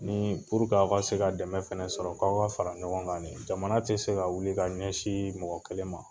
Ni puruk'aw ka se ka dɛmɛ fɛnɛ sɔrɔ, k'aw ka fara ɲɔgɔn kan ne, jamana tɛ se ka wili ka ɲɛsin mɔgɔ kelen ma.